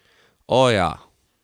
O, ja.